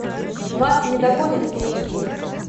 вас не догонят эйч ди